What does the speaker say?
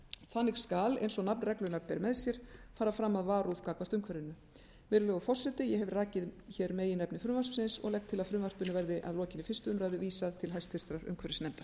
þannig skal eins og nafn reglunnar ber með sér fara fram af varúð gagnvart umhverfinu virðulegur forseti ég hef rakið hér meginefni frumvarpsins og legg til að frumvarpinu verði að lokinni fyrstu umræðu vísað til háttvirtrar umhverfisnefndar